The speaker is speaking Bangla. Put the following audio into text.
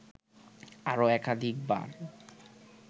আরও একাধিকবার